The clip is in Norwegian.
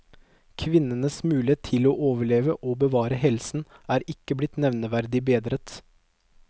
Kvinnenes mulighet til å overleve og å bevare helsen er ikke blitt nevneverdig bedret.